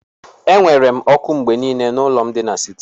Enwere m oku mgbe niile n'ụlọ m di n'siti.